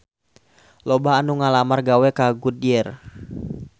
Loba anu ngalamar gawe ka Goodyear